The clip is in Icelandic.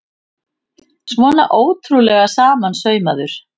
Svona ótrúlega samansaumaður!